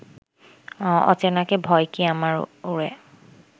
অচেনাকে ভয় কি আমার ওরে